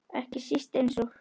Ekki síst eins og